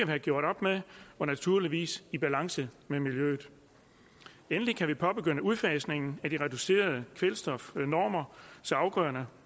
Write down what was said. have gjort op med og naturligvis i balance med miljøet endelig kan vi påbegynde udfasningen af de reducerede kvælstofnormer så afgrøderne